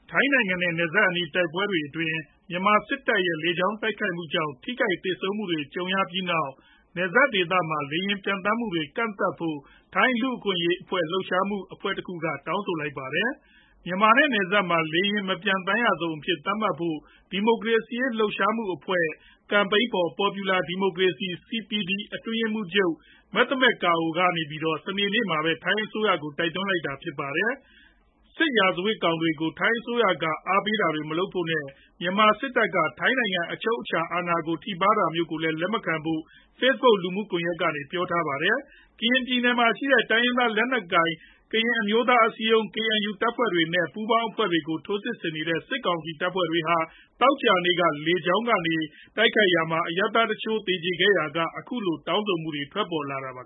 ထိုင်းနိုင်ငံနဲ့ နယ်စပ်အနီး တိုက်ပွဲတွေအတွင်း မြန်မာစစ်တပ်ရဲ့ လေကြောင်းတိုက်ခိုက်မှုကြောင့် ထိခိုက်သေဆုံးမှုတွေ ကြုံရပြီးနောက် နယ်စပ်ဒေသမှာ လေယာဉ်ပျံသန်းမှုတွေ ကန့်သတ်ဖို့ ထိုင်းလူ့အခွင့်အရေး လှုပ်ရှားမှုအဖွဲ့တခုက တောင်းဆိုလိုက်ပါတယ်။ မြန်မာနဲ့ နယ်စပ်မှာ လေယာဉ်မပျံသန်းရဇုံအဖြစ် သတ်မှတ်ဖို့ ဒီမိုကရေစီရေး လှုပ်ရှားမှုအဖွဲ့ Campaign for Popular Democracy (CPD) အတွင်းရေးမှူးချုပ် Metha Matkhao က စနေနေ့မှာပဲ ထိုင်းအစိုးရကို တိုက်တွန်းလိုက်တာပါ။ စစ်ရာဇဝတ်မှုတွေကို ထိုင်းအစိုးရက အားပေးတာတွေ မလုပ်ဖို့နဲ့ မြန်မာစစ်တပ်က ထိုင်းနိုင်ငံ အချုပ်အခြာအာဏာကို ထိပါးတာမျိုးကိုလည်း လက်မခံဖို့ Facebook လူမှုကွန်ရက်မှာ ပြောဆိုထားပါတယ်။ ကရင်ပြည်နယ်မှာရှိတဲ့ တိုင်းရင်းသား လက်နက်ကိုင် ကရင်အမျိုးသားအစည်းအရုံး (KNU) တပ်ဖွဲ့တွေနဲ့ ပူးပေါင်းအဖွဲ့တွေကို ထိုးစစ်ဆင်နေတဲ့ စစ်ကောင်စီတပ်ဖွဲ့တွေဟာ သောကြာနေ့က လေကြောင်း တိုက်ခိုက်ရာမှာ အရပ်သားတချို့ သေကျေထိခိုက်ခဲ့ရာက အခုလို တောင်းဆိုမှု ထွက်ပေါ်လာတာပါ